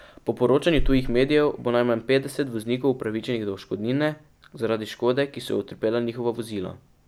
Po poročanju tujih medijev bo najmanj petdeset voznikov upravičenih do odškodnine zaradi škode, ki so jo utrpela njihova vozila.